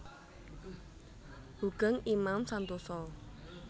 Hoegeng Imam Santoso